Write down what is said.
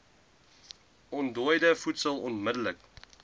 ontdooide voedsel onmidddelik